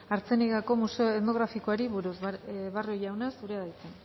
artziniegako museo etnografikoari buruz barrio jauna zurea da hitza